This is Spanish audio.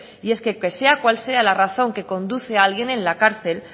y es que sea cuál sea la razón que conduce a alguien